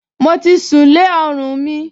Mo ti sùn lé ọrùn mi